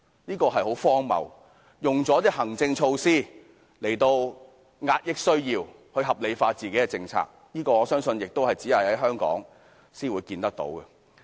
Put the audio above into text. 這是很荒謬的，以行政措施來遏抑某部分人的需要，將自己的政策合理化，我相信這現象亦只會在香港才可見到。